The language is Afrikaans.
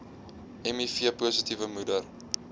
miv positiewe moeder